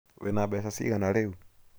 Wĩna beca cigana rĩu?